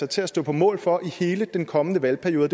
til at stå på mål for i hele den kommende valgperiode